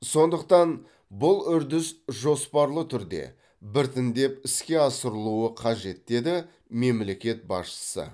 сондықтан бұл үрдіс жоспарлы түрде біртіндеп іске асырылуы қажет деді мемлекет басшысы